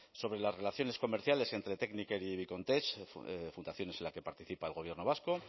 sobre las relaciones comerciales entre tekniker y vicomtech fundaciones en la que participa el gobierno vasco